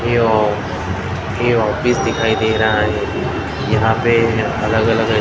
ये आ ये ऑफिस दिखाई दे रहा है यहां पे अलग अलग--